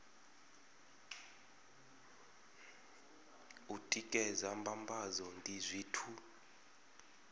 u tikedza mbambadzo ndi zwithu